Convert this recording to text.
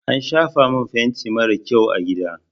An shafa min fenti marar kyau a gida.